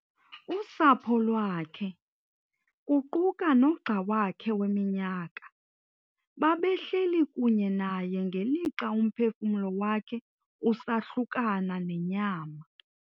Usapho lwakhe, kuquka nogxa wakhe weminyaka, babehleli kunye naye ngelixa umphefumlo wakhe usahlukana nenyama.